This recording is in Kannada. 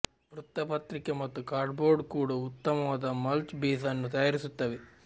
ವೃತ್ತಪತ್ರಿಕೆ ಮತ್ತು ಕಾರ್ಡ್ಬೋರ್ಡ್ ಕೂಡ ಉತ್ತಮವಾದ ಮಲ್ಚ್ ಬೇಸ್ ಅನ್ನು ತಯಾರಿಸುತ್ತವೆ